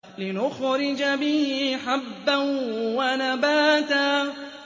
لِّنُخْرِجَ بِهِ حَبًّا وَنَبَاتًا